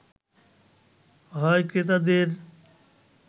হয় ক্রেতাদের